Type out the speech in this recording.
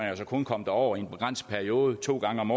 altså kun komme derover i en begrænset periode to gange om